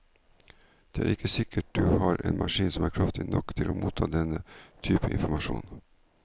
Det er ikke sikkert du har en maskin som er kraftig nok til å motta denne typen informasjon.